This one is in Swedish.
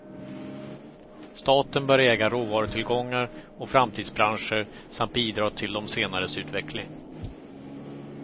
Staten bör äga råvarutillgångar och framtidsbranscher samt bidra till de senares utveckling.